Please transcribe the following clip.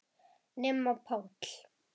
Nema Páll.